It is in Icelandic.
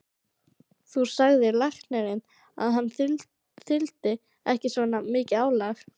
Þá sagði læknirinn að hann þyldi ekki svona mikið álag.